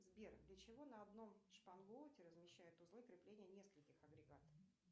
сбер для чего на одном шпангоуте размещают узлы крепления нескольких агрегатов